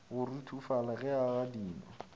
go ruthofala ge a gadima